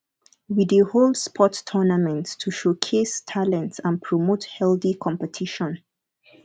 we dey hold sports tournaments to showcase talents and promote healthy competition